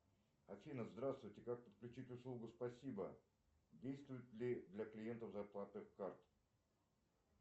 афина здравствуйте как подключить услугу спасибо действует ли для клиентов зарплатных карт